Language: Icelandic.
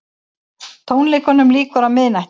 Tónleikunum lýkur á miðnætti